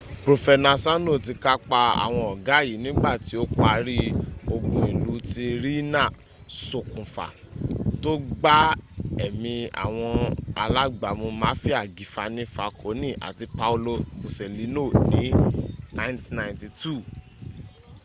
profenasano ti kapa awon oga yi nigba ti o pari ogun ilu ti riina sokunfa to gba emi awon alagbamu mafia gifani falkoni ati paolo boselino ni 1992